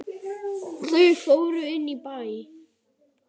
Þau fóru inn í bæ.